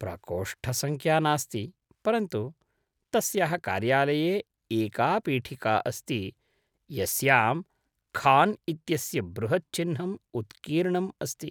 प्रकोष्ठसङ्ख्या नास्ति, परन्तु तस्याः कार्यालये एका पीठिका अस्ति यस्यां खान् इत्यस्य बृहत् चिह्नम् उत्कीर्णम् अस्ति।